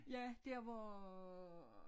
Ja der hvor